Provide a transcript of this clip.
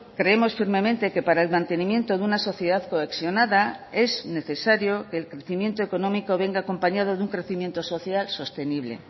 creemos firmemente que para el mantenimiento de una sociedad cohesionada es necesario el crecimiento económico venga acompañado de un crecimiento social sostenible